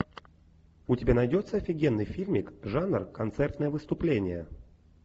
у тебя найдется офигенный фильмик жанр концертное выступление